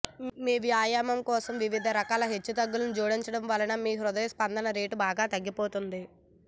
మీ వ్యాయామం కోసం వివిధ రకాల హెచ్చుతగ్గులని జోడించడం వలన మీ హృదయ స్పందన రేటు బాగా తగ్గిపోతుంది